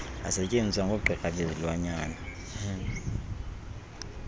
asetyenziswa ngoogqirha bezilwanyana